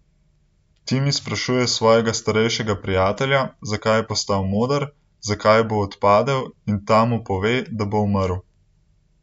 Timi sprašuje svojega starejšega prijatelja, zakaj je postal moder, zakaj bo odpadel, in ta mu pove, da bo umrl.